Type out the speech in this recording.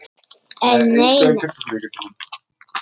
En nei nei.